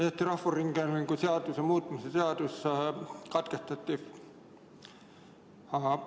Eesti Rahvusringhäälingu seaduse muutmise seaduse eelnõu lugemine katkestati.